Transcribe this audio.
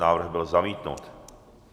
Návrh byl zamítnut.